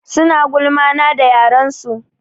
Suna gulma na da yaren su.